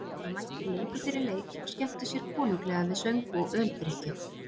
Menn voru mættir löngu fyrir leik og skemmtu sér konunglega við söng og öldrykkju.